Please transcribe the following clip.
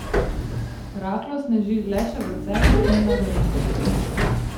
Rahlo sneži le še v Celju in na Gorenjskem.